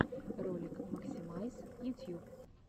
ролик максимайс ютьюб